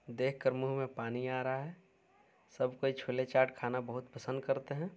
देख कर मुंह में पानी आ रहा है सब कोई छोले चाट खाना बहुत पसन्द करते हैं।